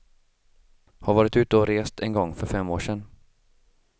Har varit ute och rest en gång, för fem år sen.